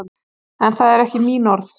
En það eru ekki mín orð.